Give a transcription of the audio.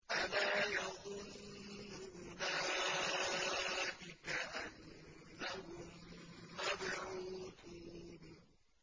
أَلَا يَظُنُّ أُولَٰئِكَ أَنَّهُم مَّبْعُوثُونَ